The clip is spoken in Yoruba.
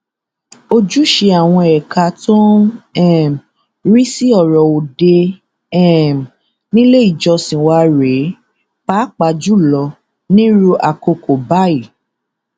ojúṣe àwọn ẹka tó ń um rí sí ọrọ òde um nílé ìjọsìn wa rèé pàápàá jù lọ nírú àkókò báyìí